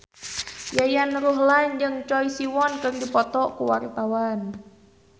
Yayan Ruhlan jeung Choi Siwon keur dipoto ku wartawan